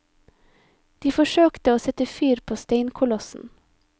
De forsøkte å sette fyr på steinkolossen.